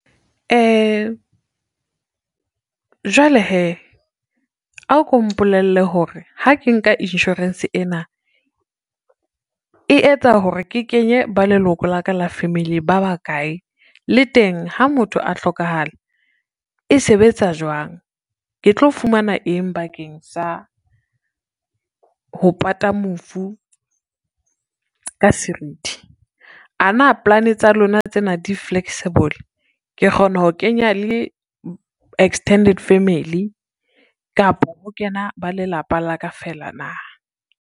Jwale hee, a ko mpolelle hore ha ke nka insurance ena, e etsa hore ke kenye ba leloko la ka la family ba bakae, le teng ha motho a hlokahale e sebetsa jwang. Ke tlo fumana eng bakeng sa ho pata mofu ka serithi. Ana polane tsa lona tsena di-flexible, ke kgona ho kenya le extended family kapo ho kena ba lelapa la ka fela na.